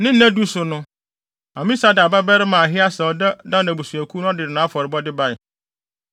Ne nnadu so no, Amisadai babarima Ahieser a ɔda Dan abusuakuw ano no de nʼafɔrebɔde bae.